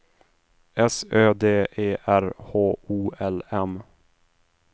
S Ö D E R H O L M